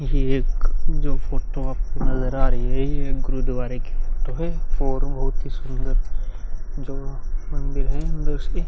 एक जो फोटो आपको नज़र आ रही हैं। यह गुरूद्वारे की फोटो हैं और बहोत ही सुन्दर जो मंदिर है अन्दर से --